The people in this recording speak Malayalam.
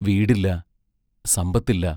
വീടില്ല; സമ്പത്തില്ല.